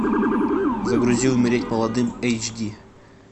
загрузи умереть молодым эйч ди